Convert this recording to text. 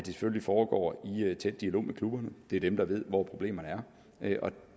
selvfølgelig foregår i tæt dialog med klubberne det er dem der ved hvor problemerne er og